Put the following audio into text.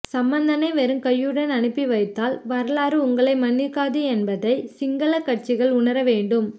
சம்பந்தனை வெறுங்கையுடன் அனுப்பி வைத்தால் வரலாறு உங்களை மன்னிக்காது என்பதை சிங்கள கட்சிகள் உணரவேண்டும்